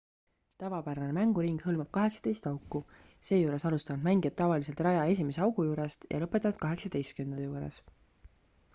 tavapärane mänguring hõlmab 18 auku seejuures alustavad mängijad tavaliselt raja esimese augu juurest ja lõpetavad 18 juures